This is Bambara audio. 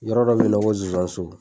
Yɔrɔ dɔ be yen nɔn ko zonzanso